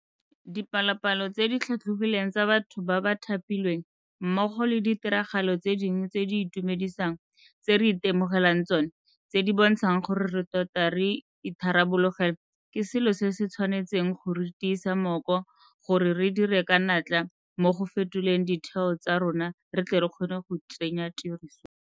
Dipalopalo tse di tlhatlhogileng tsa batho ba ba thapilweng, mmogo le ditiragalo tse dingwe tse di itumedisang tse re itemogelang tsona tse di bontshang gore re tota re itharabologelwa ke selo se se tshwanetseng go re tiisa mmoko gore re dire ka natla mo go fetoleng ditheo tsa rona re tle re kgone go tsenya tirisong.